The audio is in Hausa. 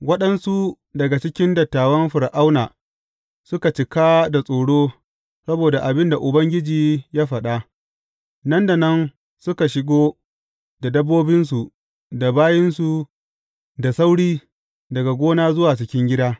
Waɗansu daga cikin dattawan Fir’auna suka cika da tsoro saboda abin da Ubangiji ya faɗa, nan da nan suka shigo da dabbobinsu da bayinsu da sauri daga gona zuwa cikin gida.